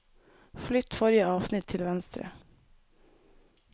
Flytt forrige avsnitt til venstre